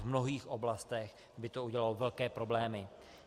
V mnohých oblastech by to udělalo velké problémy.